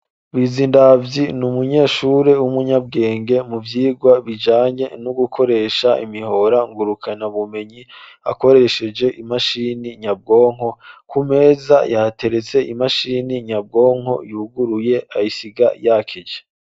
Bizindavyi ni umunyeshuri w'umunyabwenge mu vyigwa bijanye no gukoresha imihora ngurukanabumenyi akoresheje imashini nyabwonko, ku meza hateretse imashini nyabwonko yuguruye ayisiga yakije.